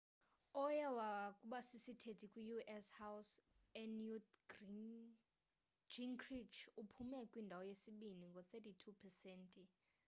owayekubasisithethi kwi-u.s house unewt gingrich uphume kwindawo yesibini ngo-32 pesenti